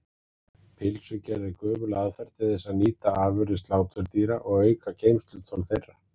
Pylsugerð er gömul aðferð til þess að nýta afurðir sláturdýra og auka geymsluþol þeirra.